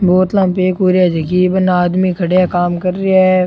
बोतला में पैक हो रिया जकी बने आदमी खड़या काम कर रिया है।